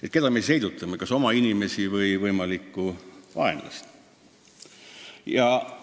Aga keda me tegelikult heidutame, kas oma inimesi või võimalikku vaenlast?